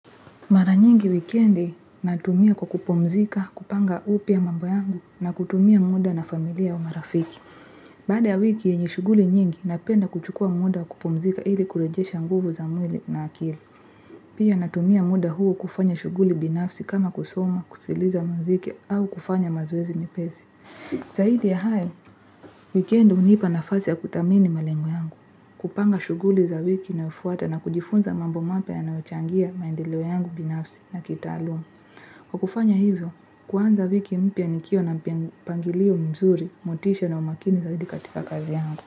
Mara nyingi wikendi natumia kwa kupumzika, kupanga upya mambo yangu na kutumia muda na familia au marafiki. Baada ya wiki yenye shughuli nyingi, napenda kuchukua muda wa kupumzika ili kurejesha nguvu za mwili na akili. Pia natumia muda huo kufanya shughuli binafsi kama kusoma, kusikiliza muziki au kufanya mazoezi mepesi Zaidi ya hayo, wikendi hunipa nafasi ya kudhamini malengo yangu, kupanga shuguli za wiki inayofuata na kujifunza mambo mapya yanayochangia maendeleo yangu binafsi ya kitaaluma. Kwa kufanya hivyo, kuanza wiki mpya nikiwa na mpangilio mzuri, motisha na umakini zaidi katika kazi yangu.